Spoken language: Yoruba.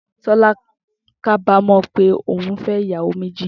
Tó̩lá kábámò̩ pé oùn fé̩ ìyàwó méjì